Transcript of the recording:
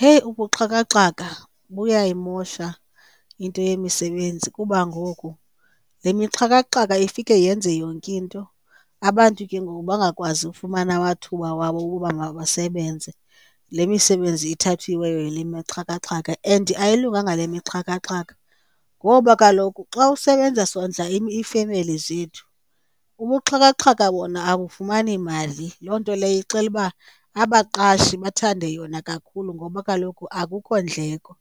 Heyi ubuxhakaxhaka buyayimosha into yemisebenzi kuba ngoku le mixhakaxhaka ifike yenze yonke into, abantu ke ngoku bangakwazi ufumana amathuba wabo wokuba mabasebenze le misebenzi ithathiweyo yile mixhakaxhaka. And ayilunganga le mixhakaxhaka, ngoba kaloku xa usebenza sondla iifemeli zethu, ubuxhakaxhaka bona abufumani mali. Loo nto leyo ixela uba abaqashi bathande yona kakhulu ngoba kaloku akukho ndleko